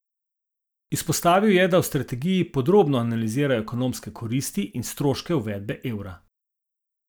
Izpostavil je, da v strategiji podrobno analizirajo ekonomske koristi in stroške uvedbe evra.